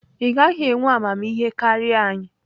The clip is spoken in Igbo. ị gaghị enwe amamihe karịa anyị!